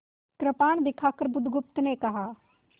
कृपाण दिखाकर बुधगुप्त ने कहा